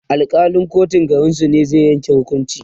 Alkalin kotun garinsu ne zai Yanke hukuncin